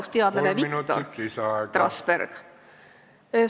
Mida ütleb selle kohta majandusteadlane Viktor Trasberg?